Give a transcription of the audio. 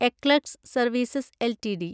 eClerx Services LTD